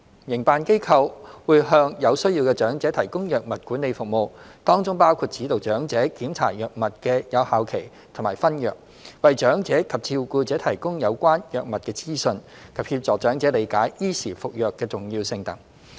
營辦機構會向有需要的長者提供藥物管理服務，當中包括指導長者檢查藥物的有效期和分藥、為長者及照顧者提供有關藥物的資訊及協助長者理解依時服藥的重要性等。